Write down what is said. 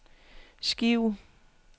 skive